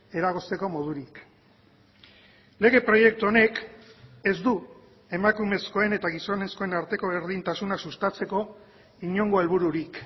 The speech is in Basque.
eragozteko modurik lege proiektu honek ez du emakumezkoen eta gizonezkoen arteko berdintasuna sustatzeko inongo helbururik